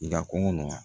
I ka kɔngo nɔgɔya